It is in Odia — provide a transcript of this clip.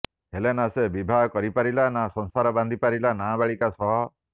ହେଲେ ନା ସେ ବିବାହ କରପାରିଲା ନା ସଂସାର ବାନ୍ଧି ପାରିଲା ନାବାଳିକା ସହ